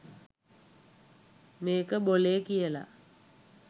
මේක බොලේ කියලා.